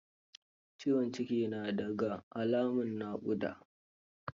Ciwon ciki na da ga alamun naƙuda.